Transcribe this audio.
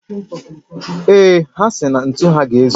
Ee, ha si na ntu ha ga-ezu